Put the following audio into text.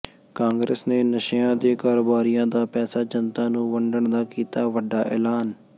ਕਾਂਗਰਸ ਨੇ ਨਸ਼ਿਆਂ ਦੇ ਕਾਰੋਬਾਰੀਆਂ ਦਾ ਪੈਸਾ ਜਨਤਾ ਨੂੰ ਵੰਡਣ ਦਾ ਕੀਤਾ ਵੱਡਾ ਐਲਾਨ